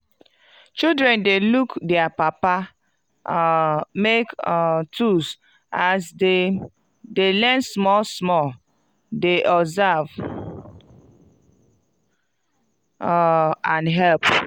children dey look dier papa um make um tools as dem de learn small small dey observe um and help.